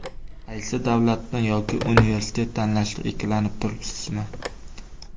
Qaysi davlatni yoki Universitet tanlashda ikkilanib turibsizmi?